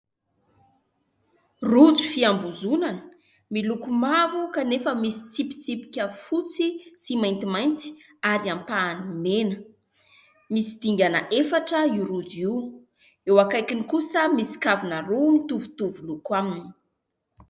Rojo fiambozonana miloko mavo kanefa misy tsipitsipika fotsy sy maintimainty ary ampahany mena. Misy dingana efatra io rojo io. Eo akaikiny kosa misy kavina roa mitovitovy loko aminy.